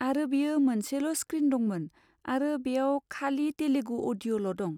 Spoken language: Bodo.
आरो बेयो मोनसेल' स्क्रिन दंमोन आरो बेयाव खालि तेलुगु अडिय'ल' दं।